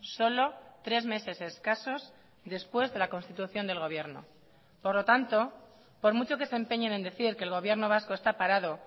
solo tres meses escasos después de la constitución del gobierno por lo tanto por mucho que se empeñen en decir que el gobierno vasco está parado